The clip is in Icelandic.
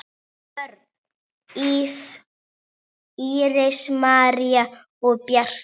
Börn: Íris, María og Bjarki.